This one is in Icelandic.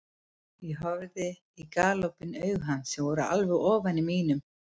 Ég horfði í galopin augu hans sem voru alveg ofan í mínum.